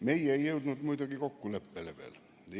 Meie ei ole muidugi veel kokkuleppele jõudnud.